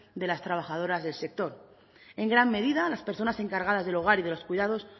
de las trabajadoras del sector en gran medida las personas encargadas del hogar y de los cuidados